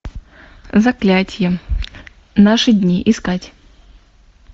заклятие наши дни искать